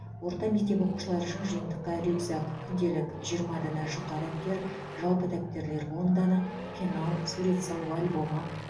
орта мектеп оқушылары үшін жиынтықта рюкзак күнделік жиырма дана жұқа дәптер жалпы дәптерлер он дана пенал сурет салу альбомы